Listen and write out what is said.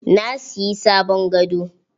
Na siyi sabon gado.